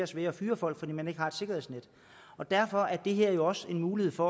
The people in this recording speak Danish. sværere at fyre folk fordi man ikke har et sikkerhedsnet derfor er det her jo også en mulighed for